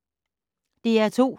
DR2